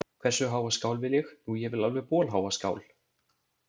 Hversu háa skál vil ég? Nú, ég vil alveg bolháa skál.